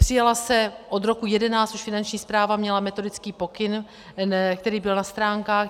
Přijala se - od roku 2011 už Finanční správa měla metodický pokyn, který byl na stránkách.